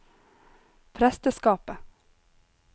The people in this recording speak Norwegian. presteskapet